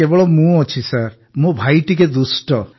କେବଳ ମୁଁ ଅଛି ମୋ ଭାଇ ଟିକିଏ ଦୁଷ୍ଟ